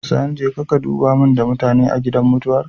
Sani jeka ka duba mun da mutane a gidan mutuwar